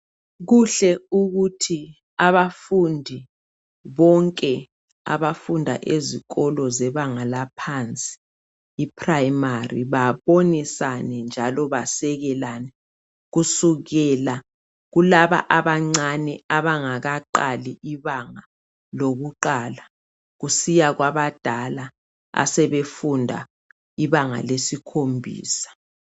Kuhle ukuthi abafundi bonke abafunda ezikolo zebanga laphansi iprimary babonisane njalo basekelane kusukela kulaba abancane abangakaqali ibanga lokuqala kusiya kwabadala asebefunda ibanga lesikhombisa .